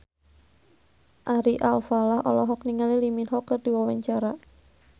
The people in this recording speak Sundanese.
Ari Alfalah olohok ningali Lee Min Ho keur diwawancara